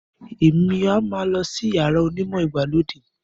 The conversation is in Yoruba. Emi a má lọ sí iyàrá onimọ ìgbàlódé.